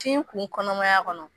Tin kun kɔnɔmaya kɔnɔ ?